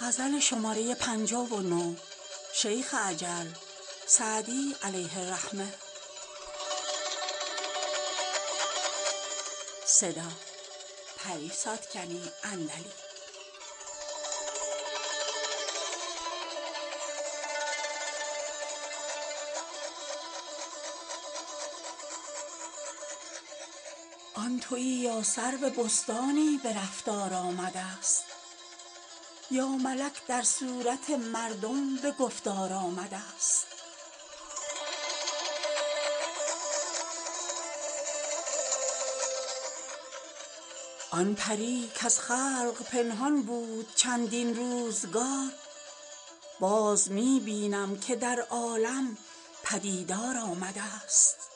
آن تویی یا سرو بستانی به رفتار آمده ست یا ملک در صورت مردم به گفتار آمده ست آن پری کز خلق پنهان بود چندین روزگار باز می بینم که در عالم پدیدار آمده ست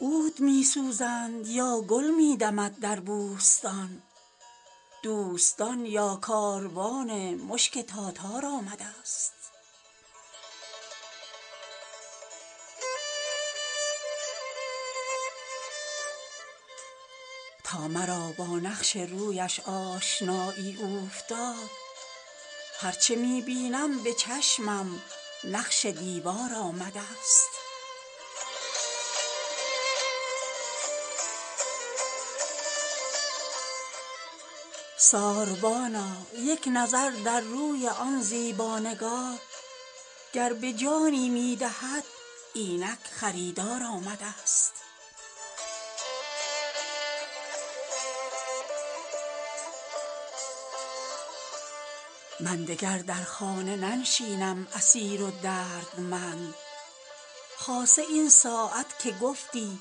عود می سوزند یا گل می دمد در بوستان دوستان یا کاروان مشک تاتار آمده ست تا مرا با نقش رویش آشنایی اوفتاد هر چه می بینم به چشمم نقش دیوار آمده ست ساربانا یک نظر در روی آن زیبا نگار گر به جانی می دهد اینک خریدار آمده ست من دگر در خانه ننشینم اسیر و دردمند خاصه این ساعت که گفتی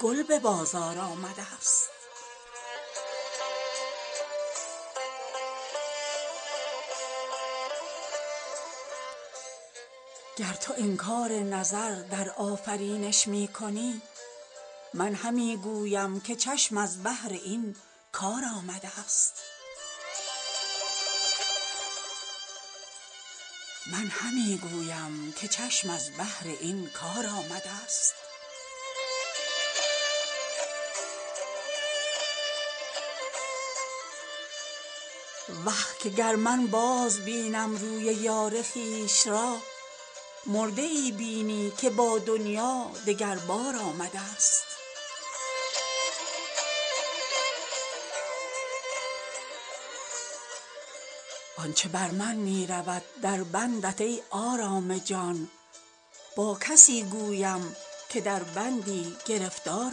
گل به بازار آمده ست گر تو انکار نظر در آفرینش می کنی من همی گویم که چشم از بهر این کار آمده ست وه که گر من بازبینم روی یار خویش را مرده ای بینی که با دنیا دگر بار آمده ست آن چه بر من می رود در بندت ای آرام جان با کسی گویم که در بندی گرفتار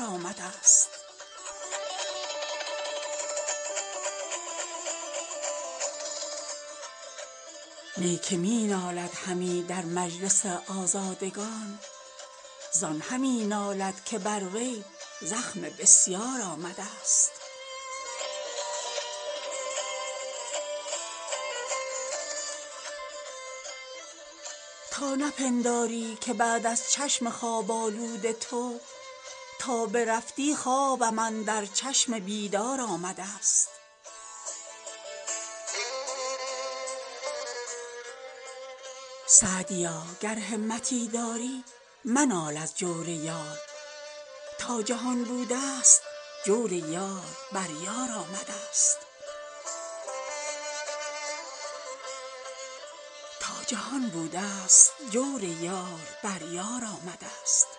آمده ست نی که می نالد همی در مجلس آزادگان زان همی نالد که بر وی زخم بسیار آمده ست تا نپنداری که بعد از چشم خواب آلود تو تا برفتی خوابم اندر چشم بیدار آمده ست سعدیا گر همتی داری منال از جور یار تا جهان بوده ست جور یار بر یار آمده ست